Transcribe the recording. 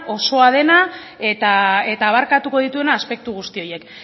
osoa dena eta abarkatuko dituena aspektu guzti horiek